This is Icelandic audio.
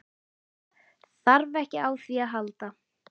Þarf ekki á því að halda.